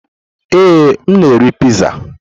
Ee, m na-eri Piizaa.